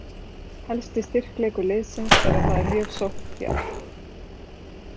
Helsti styrkleikur liðsins er að það er mjög sókndjarft.